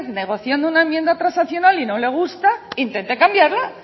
negociando una enmienda transaccional y no le gusta intente cambiarla